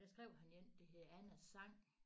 Og der skrev han én der hed Annas sang